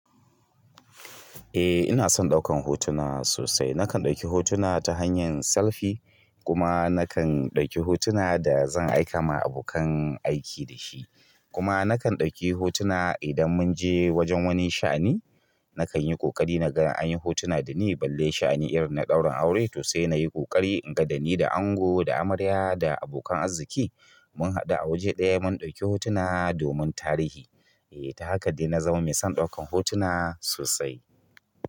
Eh ina son ɗaukan hotuna sosai. Nakan ɗauki hotuna ta hanyar selfie kuma nakan ɗauki hotuna da zan aika ma abokan aiki dashi. Kuma nakan ɗauki hotuna idan munje wajen wani sha'ani nakanyi ƙoƙari naga anyi hotuna dani balle sha'ani na ɗaurin aure to se nayi ƙoƙari naga ni da ango da amarya da abokan arziki mun haɗu a waje ɗaya mun ɗauki hotuna domin tarihi. Eh ta haka dai na zama mai son ɗaukan hotuna sosai.